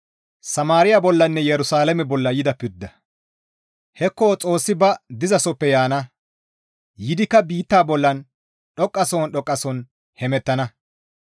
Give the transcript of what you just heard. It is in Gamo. Hekko Xoossi ba dizasoppe yaana; yiidikka biitta bollan dhoqqasohon dhoqqasohon hemettana.